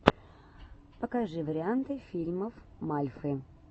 покажи варианты фильмов мальфы